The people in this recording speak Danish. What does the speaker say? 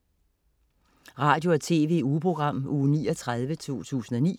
Radio- og TV-ugeprogram Uge 39, 2009